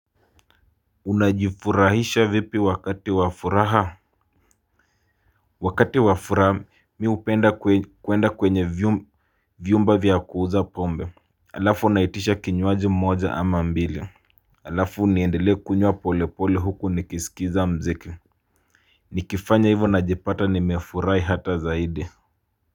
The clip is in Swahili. Unajifurahisha vipi wakati wa furaha? Wakati wa furaha mi hupenda kwenda kwenye vyumba vya kuuza pombe. Alafu unaitisha kinywaji moja ama mbili. Alafu niendelee kunywa pole pole huku nikisikiza muziki. Nikifanya hivo najipata nimefurahi hata zaidi. Kwa hivyo.